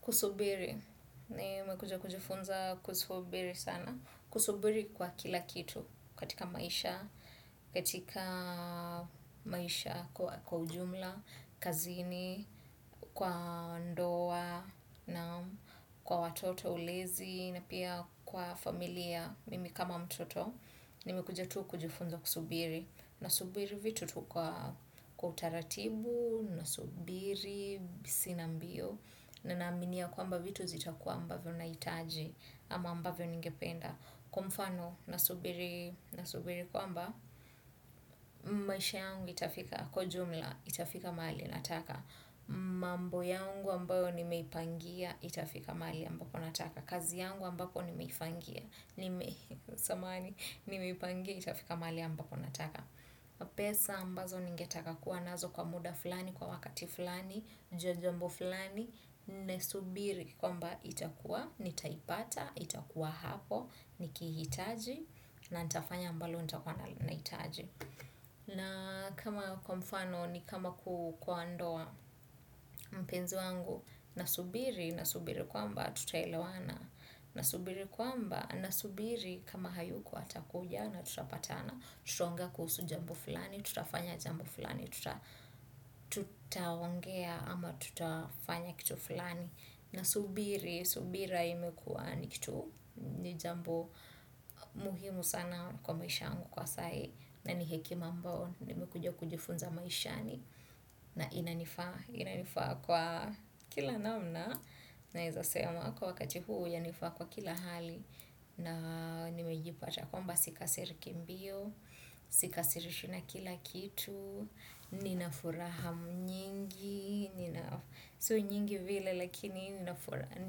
Kusubiri, nimekuja kujifunza kusubiri sana. Kusubiri kwa kila kitu, katika maisha, katika maisha, kwa ujumla, kazini, kwa ndoa, na kwa watoto ulezi, na pia kwa familia, mimi kama mtoto, nimekuja tu kujifunza kusubiri. Nasubiri vitu tu kwa utaratibu, nasubiri, sina mbio, na naaminia kwamba vitu zitakuwa ambavyo naitaji ama ambavyo ningependa. Kwa mfano nasubiri kwamba maisha yangu itafika kwa ujumla itafika mahali nataka. Mambo yangu ambayo nimeipangia, itafika mahali ambapo nataka. Kazi yangu ambapo nimeifangia, samahani nimeipangia, itafika mahali ambapo nataka. Pesa ambazo ningetaka kuwa nazo kwa muda flani kwa wakati flani juu ya jambo flani naisubiri kwamba itakua nitaipata itakua hapo nikiitaji na nitafanya ambalo nitakua nahitaji. Na kama kwa mfano ni kama kwa ndoa mpenzi wangu nasubiri nasubiri kwamba tutaelewana nasubiri kwamba nasubiri kama hayuko atakuja na tutapatana tutuaongea kuhusu jambo fulani tutafanya jambo fulani. Tutaongea ama tutafanya kitu fulani nasubiri subira. Ni jambo muhimu sana kwa maisha yangu kwa sai. Na ni hekima ambayo, nimekuja kujifunza maishani, na inanifaa, inanifaa kwa kila namna. Naezasema kwa wakati huu yanifaa kwa kila hali. Na nimejipata kwamba sikasiriki mbio. Sikasirishwi na kila kitu. Ninafuraha nyingi si nyingi vile lakini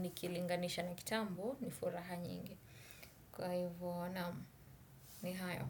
nikilinganisha na kitambo ni furaha nyingi kwa hivo naam ni hayo.